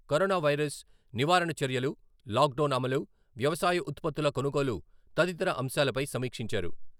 Corona virus నివారణ చర్యలు, lockdown అమలు, వ్యవసాయ ఉత్పత్తుల కొనుగోలు తదితర అంశాలపై సమీక్షించారు.